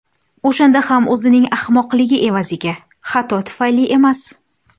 O‘shanda ham o‘zining ahmoqligi evaziga, xato tufayli emas.